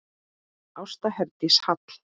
Ásta Herdís Hall.